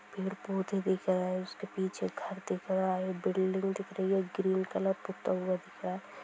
Paid पौधे दिख रहे है उसके पीछे घर दिख रहा है| बिल्डिंग दिख रही है| ग्रेन कलर पता हुवा दिख रहा है।